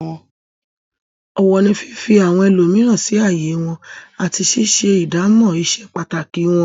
Ọ̀wọ̀ ni fífi àwọn ẹlòmíràn sí ààyè wọn àti ṣíṣe ìdámọ̀ ìse pàtàkì wọn.